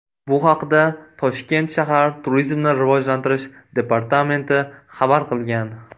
Bu haqda Toshkent shahar Turizmni rivojlantirish departamenti xabar qilgan .